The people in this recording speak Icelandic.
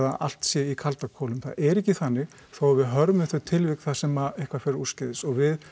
allt sé í kalda kolum það er ekki þannig þó að við hörmum þau tilvik þar sem að eitthvað fer úrskeiðis og við